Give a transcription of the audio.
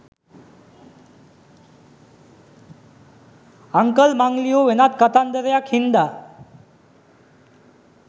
uncle මං ලියූ වෙනත් කතන්දරයක් හින්දා